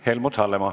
Helmut Hallemaa.